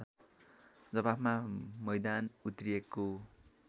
जवाफमा मैदान उत्रिएको